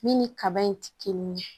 Min ni kaba in ti kelen ye